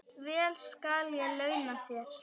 Vel skal ég launa þér.